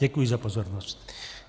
Děkuji za pozornost.